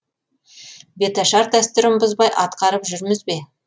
беташар дәстүрін бұзбай атқарып жүрміз бе